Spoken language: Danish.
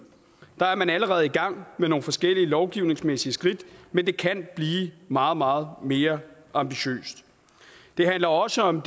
der er man allerede i gang med nogle forskellige lovgivningsmæssige skridt men det kan blive meget meget mere ambitiøst det handler også om